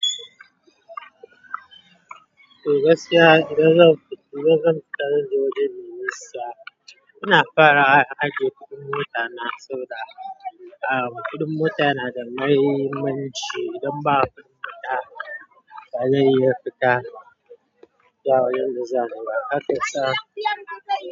Turas ya Turas zan fita don jikin Musa. Muna fara aji, kuɗin mota na sau da. Am, kuɗin mota yana da mahimmanci don babu kuɗin mota ba zai iya fita. Ya wuyan mu za ni Abakalsa.